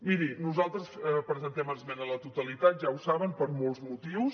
miri nosaltres presentem esmena a la totalitat ja ho saben per molts motius